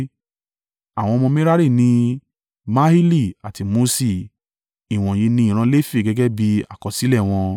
Àwọn ọmọ Merari ni: Mahili àti Muṣi. Ìwọ̀nyí ni ìran Lefi gẹ́gẹ́ bí àkọsílẹ̀ wọn.